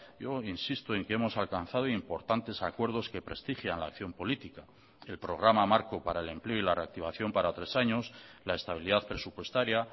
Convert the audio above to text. yo insisto en que hemos alcanzado importantes acuerdos que prestigian la acción política el programa marco para el empleo y la reactivación para tres años la estabilidad presupuestaria